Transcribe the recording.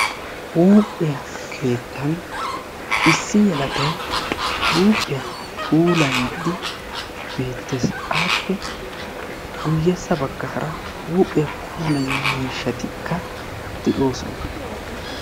Huuphiya keettan iissi yelagay huuphiya puulayiiddi beettes. Aappe guyyessa baggaara huuphiya puulayiyo miishatikka de'oosona.